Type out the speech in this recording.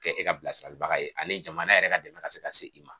Kɛ e ka bilasiralibaga ye ani jamana yɛrɛ ka dɛmɛ ka se ka se i ma.